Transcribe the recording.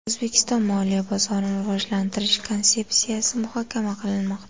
O‘zbekiston Moliya bozorini rivojlantirish konsepsiyasi muhokama qilinmoqda.